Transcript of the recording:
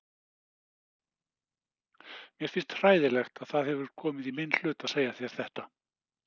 Mér finnst hræðilegt að það hefur komið í minn hlut að segja þér þetta.